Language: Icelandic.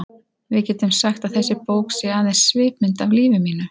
Við getum sagt að þessi bók sé aðeins svipmynd af lífi mínu.